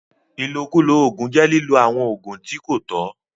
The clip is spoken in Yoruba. Ìlókùló óogun jẹ́ liló awọn óogun ti ko tọ̀.